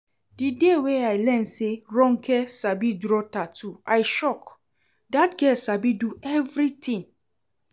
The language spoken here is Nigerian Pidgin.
The day wey I learn say Ronke sabi draw tattoo I shock, dat girl sabi do everything